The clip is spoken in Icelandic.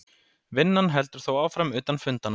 Vinnan heldur þó áfram utan fundanna